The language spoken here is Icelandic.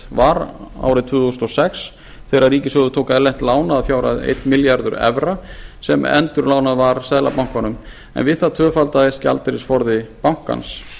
var árið tvö þúsund og sex þegar ríkissjóður tók erlent lán að fjárhæð einn milljarður evra sem endurlánað var seðlabankanum en við það tvöfaldaðist gjaldeyrisforði bankans